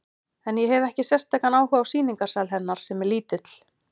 En ég hefi ekki sérstakan áhuga á sýningarsal hennar, sem er lítill.